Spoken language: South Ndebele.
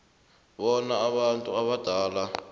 bona abantu abadala